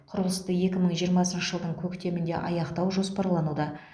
құрылысты екі мың жиырмасыншы жылдың көктемінде аяқтау жоспарлануда